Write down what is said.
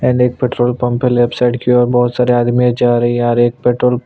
and एक petrol pump है left side की और बहुत सारे आदमी जा रही है आ रही है पेट्रोल --